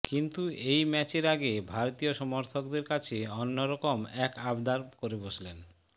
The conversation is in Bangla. কিন্তু এই ম্যাচের আগে ভারতীয় সমর্থকদের কাছে অন্যরকম এক আবদার করে বসলেন